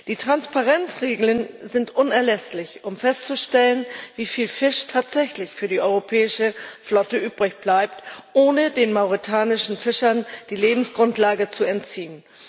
Die Transparenzregeln sind unerlässlich, um festzustellen, wieviel Fisch tatsächlich für die europäische Flotte übrig bleibt, ohne den mauretanischen Fischern die Lebensgrundlage zu entziehen.